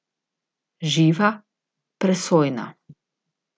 Živa, presojna.